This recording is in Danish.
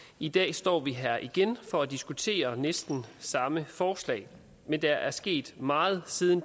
i dag står vi her igen for at diskutere næsten samme forslag men der er sket meget siden